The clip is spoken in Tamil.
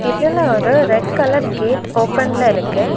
இதுல ஒரு ரெட் கலர் கேட் ஓபன்ல இருக்கு.